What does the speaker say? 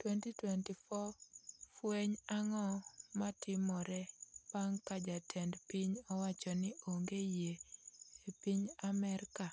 2021 Fweny ang'o matimore bang' ka jatend piny owacho ni onge yie e piny Amerka?